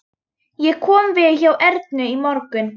Ég kom við hjá Ernu í morgun.